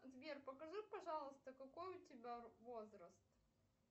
сбер покажи пожалуйста какой у тебя возраст